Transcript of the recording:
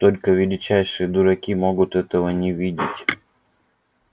только величайшие дураки могут этого не видеть